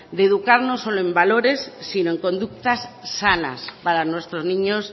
de educar no solo en valores sino en conductas sanas para nuestros niños